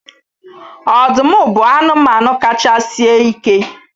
Ọdụm bụ anụmanụ kacha sie ike